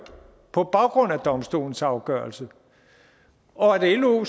på baggrund af domstolens afgørelse og lo